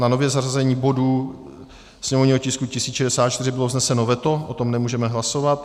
Na nové zařazení bodu - sněmovního tisku 1064 bylo vzneseno veto, o tom nemůžeme hlasovat.